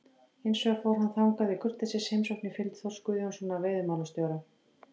Hins vegar fór hann þangað í kurteisisheimsókn í fylgd Þórs Guðjónssonar veiðimálastjóra.